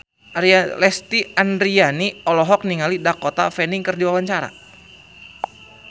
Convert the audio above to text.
Lesti Andryani olohok ningali Dakota Fanning keur diwawancara